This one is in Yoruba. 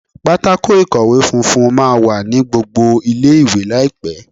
Pátákó ìkọ̀wé funfun máa wà ní gbogbo ilé ìwé láìpẹ́.